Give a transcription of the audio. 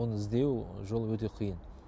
оны іздеу жолы өте қиын